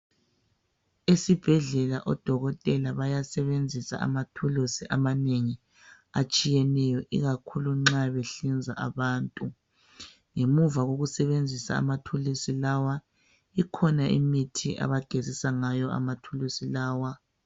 Esibhedlela odokotela bayasebenzisa amathulusi amanengi atshiyeneyo ikakhulu nxa behlinza abantu ngemuva kokusebenzisa amathuluzi lawa ikhona imithi abagezisa ngayo amathuluzi lawa.